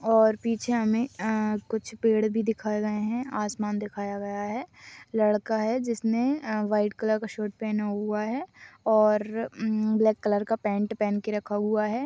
और पीछे हमें कुछ पेड़ भी दिखाए गए हैंआसमान दिखाया गया है लड़का है जिसने व्हाइट कलर का शर्ट पहना हुआ है और ब्लैक कलर का पॅन्ट पहन के रखा हुआ है।